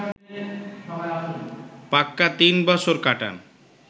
পাক্কা তিন বছর কাটান